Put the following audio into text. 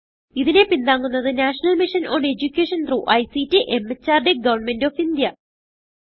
ഇതിനെ പിന്താങ്ങുന്നത് national mission on education through ICT MHRD government of India